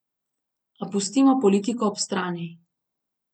A pustimo politiko ob strani.